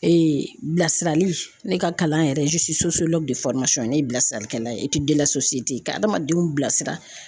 bilasirali ne ka kalan yɛrɛ ne ye bilasiralikɛla ye ka adamadenw bilasira.